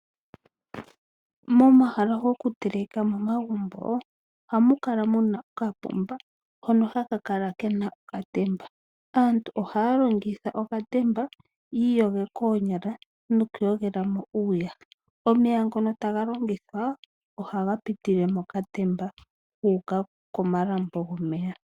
Momahala gokutelekela momagumbo ohamu kala mu na okapomba hono haka kala ke na okatemba. Aantu ohaya longitha okatemba yi iyoge koonyala nokuyogela mo uuyaha. Omeya ngono taya longitha ohaga pitile mokatemba gu uka komalambo gomeya.